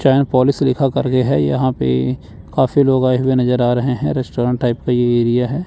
चैन polish लिखा करके है यहां पे काफी लोग आए हुए नजर आरहे हैं रेस्टोरेंट टाइप का ये एरिया है।